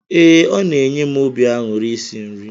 Ee, ọ na-enye m obi aṅụrị isi nri.